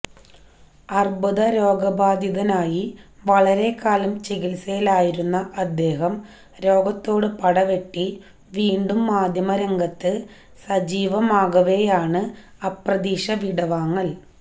അർബുദ രോഗബാധിതനായി വളരെക്കാലം ചികിത്സയിലായിരുന്ന അദ്ദേഹം രോഗത്തോട് പടവെട്ടി വീണ്ടും മാധ്യമരംഗത്ത് സജീവമാകവെയാണ് അപ്രതീക്ഷിത വിടവാങ്ങൽ